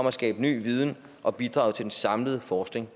at skabe ny viden og bidrage til den samlede forskning